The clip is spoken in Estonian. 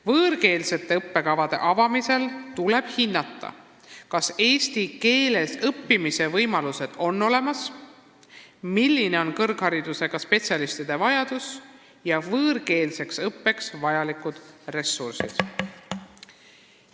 Võõrkeelsete õppekavade avamisel tuleb hinnata, kas eesti keeles õppimise võimalused on olemas, milline on kõrgharidusega spetsialistide vajadus ja võõrkeelseks õppeks vajalikud ressursid.